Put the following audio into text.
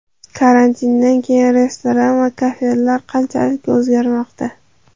Karantindan keyin restoran va kafelar qanchalik o‘zgarmoqda?